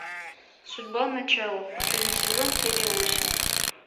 судьба начало последний сезон серия восемь